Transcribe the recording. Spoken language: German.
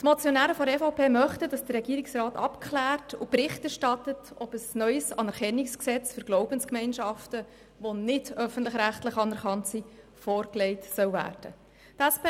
Die Motionäre möchten, dass der Regierungsrat abklärt und Bericht erstattet, ob ein neues Anerkennungsgesetz für nicht öffentlich-rechtlich anerkannte Glaubensgemeinschaften vorgelegt werden soll.